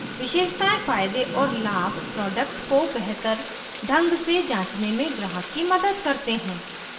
विशेषतायें फायदे और लाभ प्रोडक्ट को बेहतर ढंग से जांचने में ग्राहक की मदद करते हैं